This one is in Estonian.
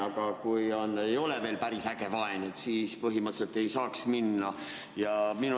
Aga kui ei ole veel päris äge vaen, siis põhimõtteliselt ei saaks minna.